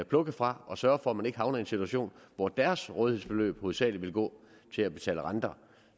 plukke fra og så for at man ikke havner i en situation hvor deres rådighedsbeløb hovedsagelig vil gå til at betale renter